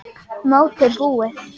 Mótið búið?